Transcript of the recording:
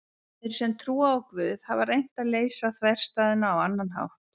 Þeir sem trúa á Guð hafa reynt að leysa þverstæðuna á annan hátt.